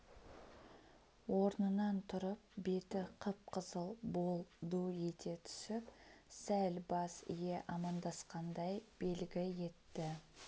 орнынан тұрып беті қып-қызыл бол ду ете түсіп сәл бас ие амандасқандай белгі етті